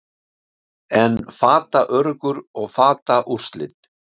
en fataöruggur og fataúrslit